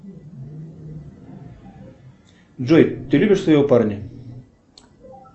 джой ты любишь своего парня